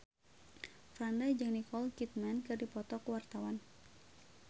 Franda jeung Nicole Kidman keur dipoto ku wartawan